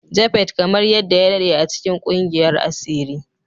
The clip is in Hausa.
Japhet kamar yadda ya daɗe a cikin ƙungiyar asiri